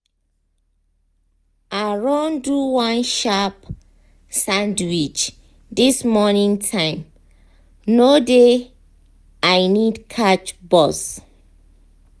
i run do one sharp sandwich this morning time no dey i need catch bus.